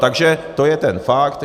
Takže to je ten fakt.